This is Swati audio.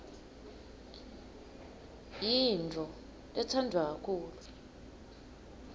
yintfo letsandvwa kakhulu